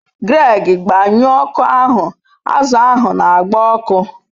Greg, gbanyuo oku ahu, azu ahu n'agba oku